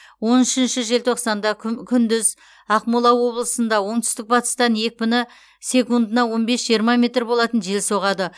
он үшінші желтоқсанда күн күндіз ақмола облысында оңтүстік батыстан екпіні секундына он бес жиырма метр болатын жел соғады